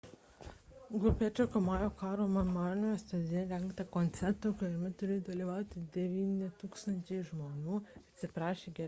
grupė atšaukė maujo karo memorialiniame stadione rengtą koncertą kuriame turėjo dalyvauti 9 000 žmonių ir atsiprašė gerbėjų